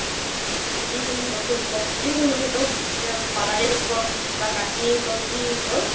যিকোনো বস্তু শিকক, যিকোনো মানে শিকক parlor শিকক বা শিকক বা যি শিকক